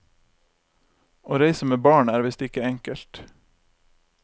Å reise med barn er visst ikke enkelt.